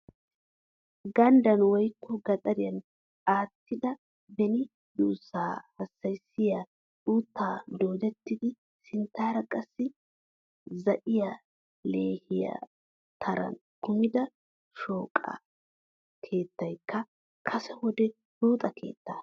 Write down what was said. Ganddan woykko gaxariyan attida beni duussaa hassayissiya uuttan doodettidi sinttaara qassi zaa'iya leehiya turan kumida shooqaa. Keettaykka kase wode buuxa keetta.